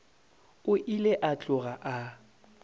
o ile a tloga a